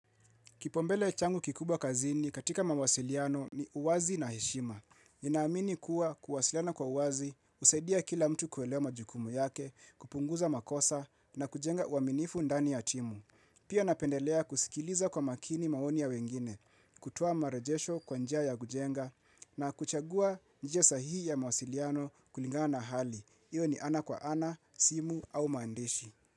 Kipaumbele changu kikubwa kazini katika mawasiliano ni uwazi na heshima. Ninaamini kuwa kuwasiliana kwa uwazi, husaidia kila mtu kuelewa majukumu yake, kupunguza makosa na kujenga uaminifu ndani ya timu. Pia napendelea kusikiliza kwa makini maoni ya wengine, kutoa marajesho kwa njia ya kujenga na kuchagua njia sahihi ya mawasiliano kulingana hali. Iyo ni ana kwa ana, simu au maandishi.